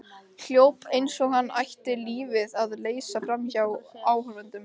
Hljóp eins og hann ætti lífið að leysa framhjá áhorfendunum.